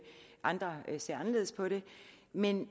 andre ser anderledes på det men